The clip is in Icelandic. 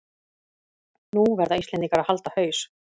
Nú verða Íslendingar að halda haus